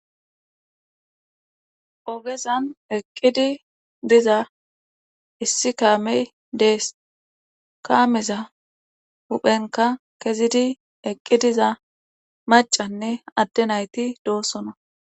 Ogezan eqqid diza issi kaamey dees kaameza huuphenkka kezidi eqqi diza maccanne adde nayti doosona.